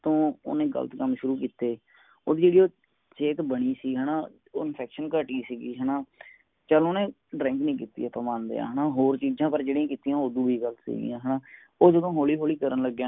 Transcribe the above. ਫੇਰ ਤੋਂ ਓਹਨੇ ਗਲਤ ਕਮ ਸ਼ੁਰੂ ਕਿੱਤੇ ਉਹ ਜੇਡੀ ਸੇਹਤ ਬਣੀ ਸੀ ਹੈਨਾ ਉਹ infection ਘਟਿ ਸੀਗੀ ਹੈਨਾ ਚਲ ਓਨੇ drink ਨੀ ਕੀਤੀ ਆਪਾ ਮੰਨਦੇ ਹਾਂ ਪਰ ਹੋਰ ਚੀਜਾਂ ਪਰ ਜੇਡੀਆ ਕੀਤੀਆਂ ਓਦੋ ਵੀ ਗਲਤ ਸਿਗਿਆ ਹਨਾ ਉਹ ਜਦੋਂ ਹੌਲਿ ਹੌਲਿ ਕਰਨ ਲਗਿਆ